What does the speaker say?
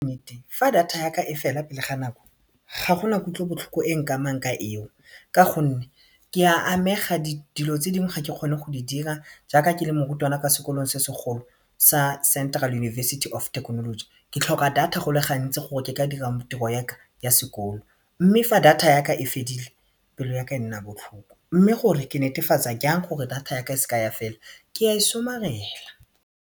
Nnete fa data yaka e fela pele ga nako, ga gona kutlobotlhoko e nkamang ka eo ka gonne ke a amega dilo tse dingwe ga ke kgone go di dira jaaka ke le morutwana kwa sekolong se segolo sa Central University of Technology ke tlhoka data go le gantsi gore ke ka dira tiro ya sekolo mme fa data yaka e fedile pelo yaka e nna botlhoko mme ke netefatsa yang gore data yaka e seka ya fela ke ya e somarela.